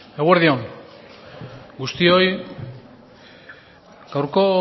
eguerdi on guztioi